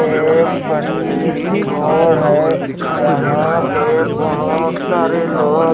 ये एक बड़ी सी घर है यहां पे बहोत सारे लोग--